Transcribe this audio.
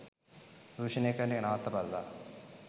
දූෂණය කරන එක නවත්තපල්ලා.